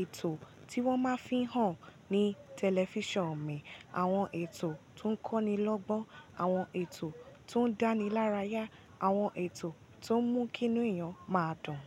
ètò tí wọ́n máa fihàn ní tẹlifíṣàn mi, àwọn ètò tó ń kọ́nilọ́gbọ́n, àwọn ètò tó ń dánilárayá, àwọn ètò tó ń mú kí inú èèyàn máa dùn.